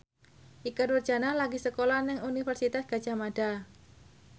Ikke Nurjanah lagi sekolah nang Universitas Gadjah Mada